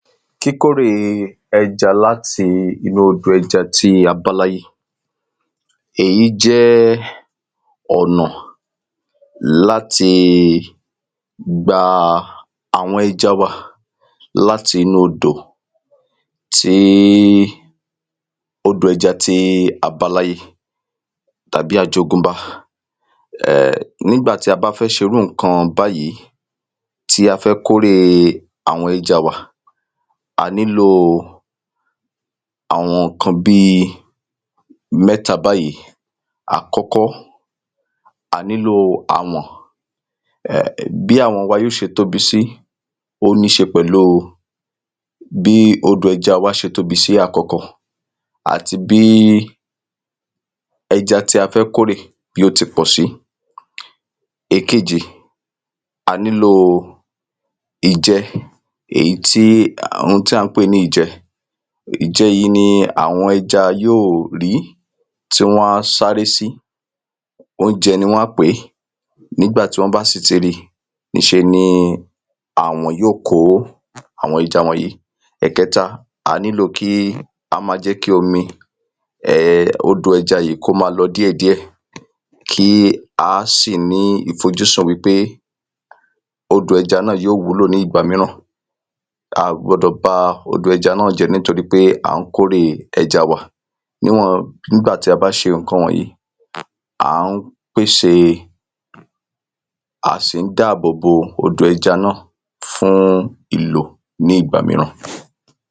Kíkórè ẹja láti inú odò ẹja tí a báláyé Èyí jẹ́ ọ̀nà láti gba àwọn ẹja wa láti inú odò tí odò ẹja tí a bá láyé tàbí àjogúnbá um nígbà tí a bá fẹ́ ṣe irú nǹkan báyì tí a fẹ́ kó èrè àwọn ẹja wa a nílò àwọn nǹkan bíi mẹ́ta báyì Àkọ́kọ́ a nílò àwọ̀n Bí àwọ̀n wa yóò ṣe tóbi sí ó níí ṣe pẹ̀lú bí odò ẹja wa ṣe tóbi sí àkókò Àti bí ẹja tí a fẹ́ kó èrè bí o ti pọ̀ sí Ẹkejì a nílò ìjẹ Èyí tí oun tí à ń pè ní ìjẹ Ìjẹ yìí ni àwọn ẹja yóò rí tí wọ́n á sáré sí Óúnjẹ ni wọ́n á pè nígbà tí wọ́n bá sì ti ri níṣeni àwọ̀n yóò kó àwọn ẹja wọ̀nyí Ẹ̀kẹta a nílò kí á ma jẹ́ kí omi odò ẹja yìí kí ó ma lọ díẹ̀ díẹ̀ Kí a sì ní ìfojúsùn wípé odò ẹja náà yóò wúlò ní ìgbà míràn A à gbọdọ̀ ba odò ẹja náà jẹ́ nítorí pé à ń kó èrè ẹja wa Níwọ̀n nígbà tí a bá ṣe nǹkan wọ̀nyí a ń pèsè a sì ń dá àbò bo odò ẹja náà fún ìlò ní ìgbà míràn